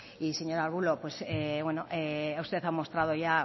y señor arbulo usted ha mostrado ya